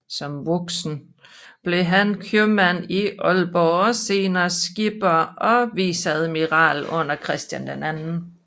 Som voksen blev han købmand i Aalborg og senere skipper og viceadmiral under Christian 2